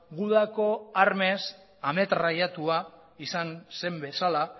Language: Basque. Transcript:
gudako armez ametrallatua izan zen bezala